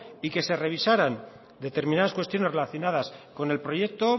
y que se revisaran determinadas cuestiones relacionadas con el proyecto